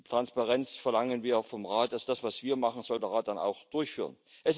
Transparenz verlangen wir vom Rat, das ist das, was wir machen, das soll der Rat dann auch durchführen.